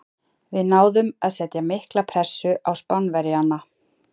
Við náðum að setja mikla pressu á Spánverjana.